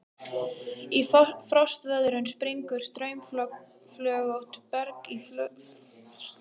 Við frostveðrun springur straumflögótt berg í flögur eða hellur.